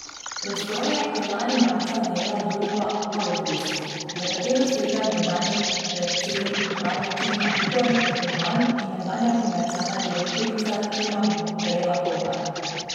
Prostore je marca lani najela družba Aluplus, za katero stojita nekdanji predsednik uprave Trima Igor Kržan in nekdanja komercialna direktorica Trima Breda Kotar.